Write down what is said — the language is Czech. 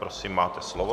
Prosím máte slovo.